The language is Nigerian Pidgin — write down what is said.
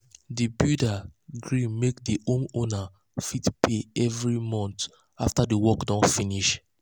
the builder gree make the homeowner fit fit pay every month after the work don finish.